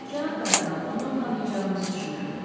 Cənab kardinal, onu tanıyacağınızı düşünürdüm.